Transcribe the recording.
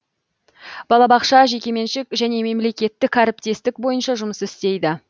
балабақша жекеменшік және мемлекеттік әріптестік бойынша жұмыс істейді